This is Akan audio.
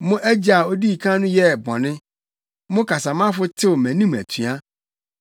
Mo agya a odii kan no yɛɛ bɔne; mo kasamafo tew mʼanim atua.